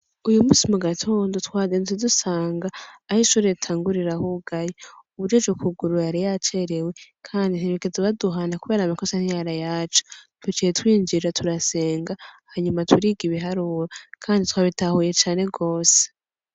Uyu musi mu gatonda twadentzidusanga aho ishurue tangurirahugaye ubujuje ukuguru yari yacerewe, kandi nterekezo baduhana, kubera amakosa ntiyara yacu tucaye twinjira turasenga hanyuma turiga ibiharura, kandi twa bitahuye cane rose.